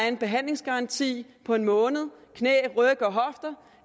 en behandlingsgaranti på en måned knæ ryg og hofter